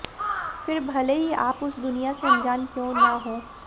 फिर भले ही आप उस दुनिया से अनजान क्यूं ना हो